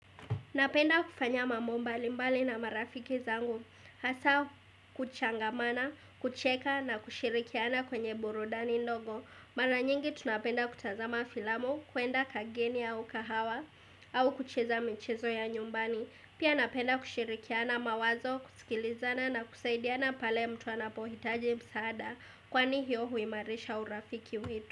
Napenda kufanya mambo mbali mbali na marafiki zangu, hasa kuchangamana, kucheka na kushirikiana kwenye burudani ndogo. Mara nyingi tunapenda kutazama filamu, kuenda kageni au kahawa, au kucheza michezo ya nyumbani. Pia napenda kushirikiana mawazo, kusikilizana na kusaidiana pale mtu anapohitaji msaada, kwani hiyo huimarisha urafiki wetu.